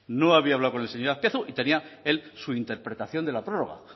no había hablado con el señor azpiazu y tenía él su interpretación de la prórroga